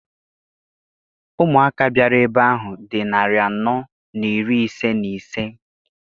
Ụmụaka bịara ebe ahụ dị narị anọ na iri ise na ise.